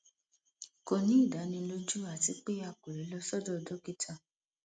kò ní ìdánilójú àti pé a kò lè lọ sọdọ dókítà